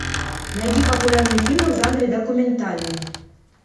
найди популярные фильмы в жанре документальный